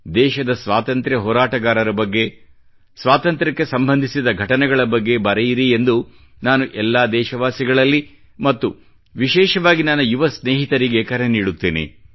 ದೇಶದ ಸ್ವಾತಂತ್ರ್ಯ ಹೋರಾಟಗಾರರ ಬಗ್ಗೆ ಸ್ವಾತಂತ್ರ್ಯಕ್ಕೆ ಸಂಬಂಧಿಸಿದ ಘಟನೆಗಳ ಬಗ್ಗೆ ಬರೆಯಿರೆಂದು ನಾನು ಎಲ್ಲಾ ದೇಶವಾಸಿಗಳಲ್ಲಿ ಮತ್ತು ವಿಶೇಷವಾಗಿ ನನ್ನ ಯುವ ಸ್ನೇಹಿತರಿಗೆ ಕರೆ ನೀಡುತ್ತೇನೆ